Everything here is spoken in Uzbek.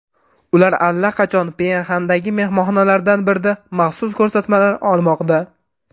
Ular allaqachon Pxenyandagi mehmonxonalardan birida maxsus ko‘rsatmalar olmoqda.